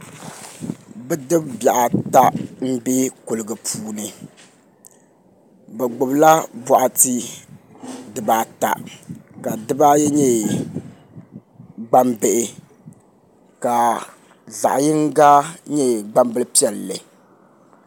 Bidib bihi ata n bɛ kuligi puuni bi gbubila boɣati dibaata ka dibaayi nyɛ gbambihi ka zaɣ yinga nyɛ gbambili piɛlli